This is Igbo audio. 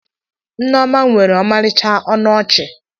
Neoma nwere ọmarịcha ọnụ ọchị